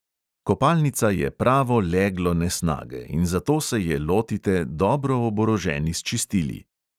Kopalnica je pravo leglo nesnage in zato se je lotite dobro oboroženi s čistili.